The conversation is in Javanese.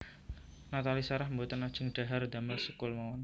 Nathalie Sarah mboten ajeng dhahar ndamel sekul mawon